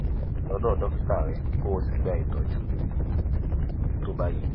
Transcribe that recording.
sọ̀rọ̀ lọ́dọ̀ dókítà rẹ kó o sì gba ìtọ́jú tó bá yẹ